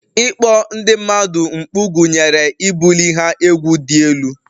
Ịkpọ ndị mmadụ mkpu gụnyere ibuli ha egwu dị elu